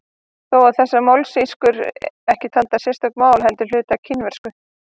Þó eru þessar mállýskur ekki taldar sérstök mál heldur hluti af kínversku.